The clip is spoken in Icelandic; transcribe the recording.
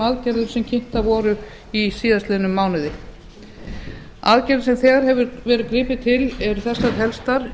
aðgerðum sem kynntar voru í síðastliðnum mánuði aðgerðir sem þegar hefur verið gripið til eru þessar helstar